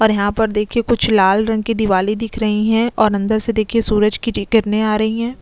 और यहाँ पर देखिये कुछ लाल रंग की दीवारे दिख रही है और अंदर से देखिये सूरज की किरणे आ रही है। --